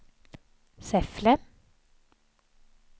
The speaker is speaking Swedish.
Säffle